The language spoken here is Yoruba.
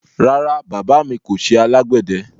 Rárá, baba mi kò ṣẹ alágbedẹ